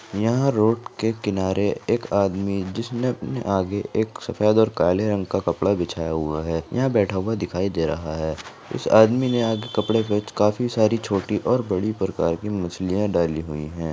यहाँ रोड के किनारे एक आदमी जिसने अपने आगे एक सफ़ेद और काला रंग का कपड़ा बिछाया हुआ है यहाँ बैठा हुआ दिखाई दे रहा है इस आदमी ने आगे कपड़े पर काफी सारी छोटी और बड़ी प्रकार मछलियां डाली हुई है।